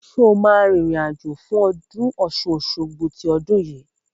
Sọ ma rìn rìn àjò fún ọdún Ọ̀ṣun-Òṣogbo ní ọdún yìí?